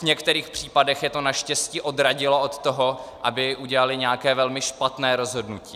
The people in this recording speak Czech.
V některých případech je to naštěstí odradilo od toho, aby udělali nějaké velmi špatné rozhodnutí.